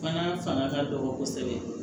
Fana fanga ka dɔgɔ kosɛbɛ